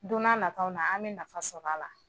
Don n'a nataw la an bɛ nafa sɔrɔ a la